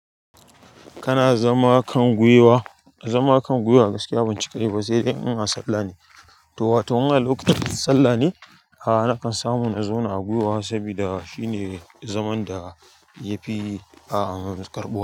Kana zama kan gwiwa zama kan gwiwa gaskiya ban cika yi ba saidai in a sallah ne to wato in a lokutan sallah ne. A'a nakan samu na zauna a gwiwa saboda shine zaman da yafi a karɓuwa.